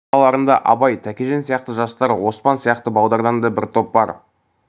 араларында абай тәкежан сияқты жастар оспан сияқты балалардан да бір топ бар